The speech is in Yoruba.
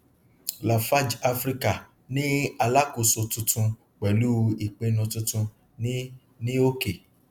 lafarge africa ni alákóso tuntun pẹlú ìpinnu tuntun ní ní òkè